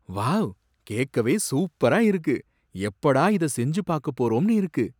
Wow, கேக்கவே சூப்பரா இருக்கு, எப்படா இதை செஞ்சுப் பாக்கப் போறோம்னு இருக்கு.